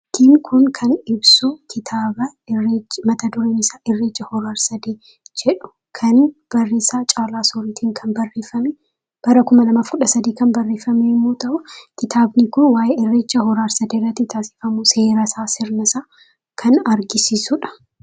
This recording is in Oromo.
Fakkiin kun kan ibsu, kitaaba irreechi mata dureen isaa "Irreecha Hora Arsadee " jedhu kan barreessaa Caalaa Sooriitiin kan barreefame, bara kuma lamaaf kudha sadi(2013) yommuu ta'u, kitaabni kun waayee Irreechaa hora arsadeerratti taasisamu seerasaa, sirnasaa kan agarsiisudha.